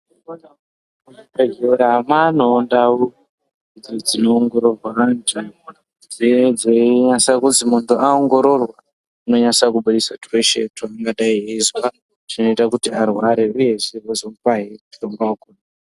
Muzvibhedhelra mwaanewo ndau dzinoongororwa vantu dze dzeinasa kuzi muntu aongororwa inonyase kubudisa tweshe twavangadai veizwa tunoita kuti arware uyezve veizomupahe mutombo.